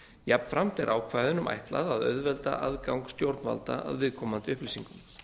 jafnframt er ákvæðunum ætlað að auðvelda aðgang stjórnvalda að viðkomandi upplýsingum